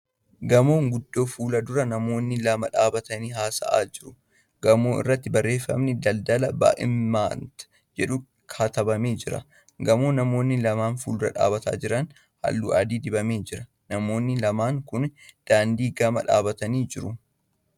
Gamoo guddoo fuuldura namoonmi lama dhaabbatanii haasa'aa jiru. Gamoo irratti barreeffamni ' Daldala Ba'imnat ' jedhu katabamee jira. Gamoo namoonni lama fuuldura dhaabbatanii jiran halluu adii dibamee jira . Namoonni lammaan kun daandii gama dhaabbataniiru.